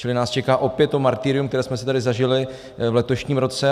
Čili nás čeká opět to martyrium, které jsme si tady zažili v letošním roce.